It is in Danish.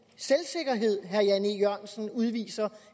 selvsikkerhed herre jan e jørgensen udviser